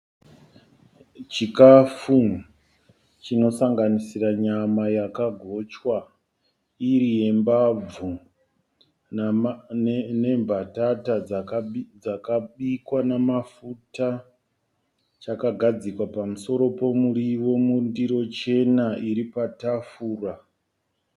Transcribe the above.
Chikafu chinosanganisira nyama yakagochwa iri yembabvu nembatata dzakabikwa namafuta. Chakagadzikwa pamusoro pomuriwo mundiro chena iri patafura.